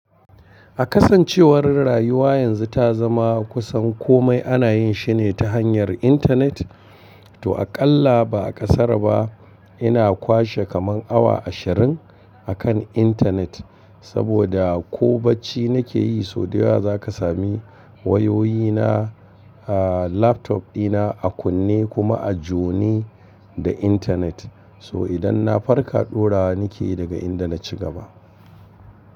A kasancewar rayuwa yanzu ta zama kusan komai ana yin shi ne ta hanyar intanet, to aƙalla ba ƙasar ba ina kwashe kaman awa ashirin a kan intanet. Saboda ko bacci nake yi, sau da yawa za ka sami wayoyina, aa laptop dina a kunne kuma a jone da intanet. So idan na farka, ɗora nike daga inda na ci gaba.